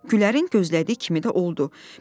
Gülərin gözlədiyi kimi də oldu.